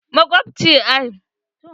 Magulmaciyar ta yi bacci.